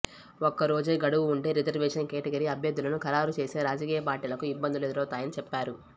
ఒక్క రోజే గడువు ఉంటే రిజర్వేషన్ కేటగిరీ అభ్యర్థులను ఖరారు చేసే రాజకీయ పార్టీలకు ఇబ్బందులు ఎదురవుతాయని చెప్పారు